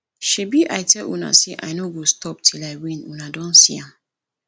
shebi i tell una say i no go stop till i win una don see am